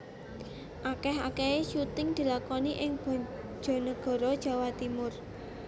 Akeh akehe syuting dilakoni ing Bojonegoro Jawa Timur